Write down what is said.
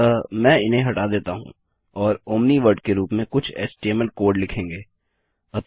अतः में इन्हें हटा देता हूँ और ओमनी वर्ड के रूप में कुछ एचटीएमएल कोड लिखेंगे